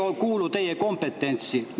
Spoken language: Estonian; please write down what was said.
See ei kuulu teie kompetentsi.